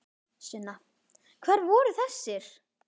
Sunna: Hvar voru þessir?